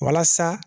Walasa